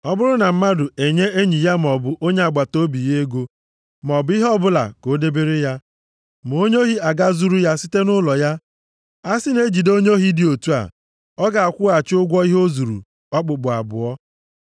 “Ọ bụrụ na mmadụ enye enyi ya maọbụ onye agbataobi ya ego, maọbụ ihe ọbụla ka o debere ya, ma onye ohi agaa zuru ya site nʼụlọ ya, a si na e jide onye ohi dị otu a, ọ ga-akwụghachi ụgwọ ihe o zuru okpukpu abụọ.